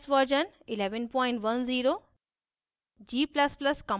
ubuntu os version 1110